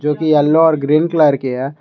जो कि येलो और ग्रीन कलर की है।